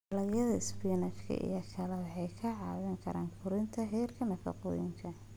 Dalagyada spinach iyo kale waxay ka caawiyaan kordhinta heerka nafaqooyinka.